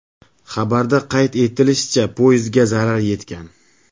Xabarda qayd etilishicha, poyezdga zarar yetgan.